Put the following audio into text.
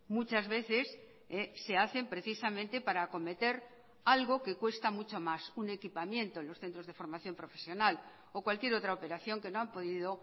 muchas veces se hacen precisamente para acometer algo que cuesta mucho más un equipamiento en los centros de formación profesional o cualquier otra operación que no han podido